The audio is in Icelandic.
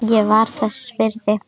Ég var þess virði.